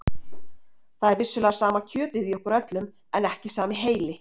Það er vissulega sama kjötið í okkur öllum en ekki sami heili.